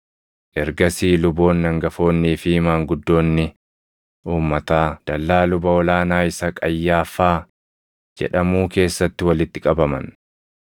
Ergasii luboonni hangafoonnii fi maanguddoonni uummataa dallaa luba ol aanaa isa Qayyaaffaa jedhamuu keessatti walitti qabaman.